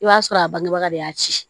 I b'a sɔrɔ a bangebaga de y'a ci